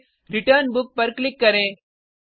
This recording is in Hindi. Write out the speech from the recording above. फिर रिटर्न बुक पर क्लिक करें